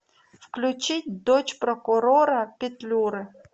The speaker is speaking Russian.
включить дочь прокурора петлюры